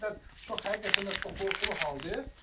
Bu yəni o qədər çox həqiqətən də çox qorxulu haldır.